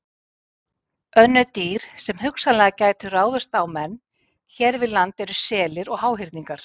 Önnur dýr sem hugsanlega gætu ráðist á menn hér við land eru selir og háhyrningar.